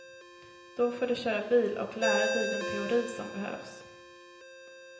Då får du köra bil och lära dig den teori som behövs.